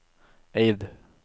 Eid